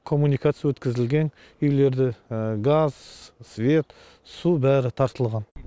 коммуникация өткізілген үйлерді газ свет су бәрі тартылған